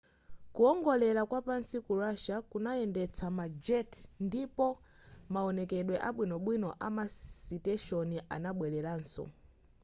kuwongolera kwapansi ku russia kunayendetsa ma jet ndipo maonekedwe abwinobwino amasiteshoni anabweleranso